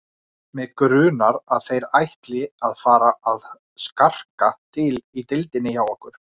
Mig grunar, að þeir ætli að fara að skarka til í deildinni hjá okkur